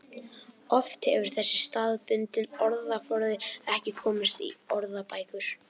Oft hefur þessi staðbundni orðaforði ekki komist í orðabækur.